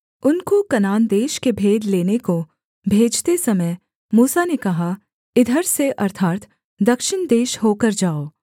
उनको कनान देश के भेद लेने को भेजते समय मूसा ने कहा इधर से अर्थात् दक्षिण देश होकर जाओ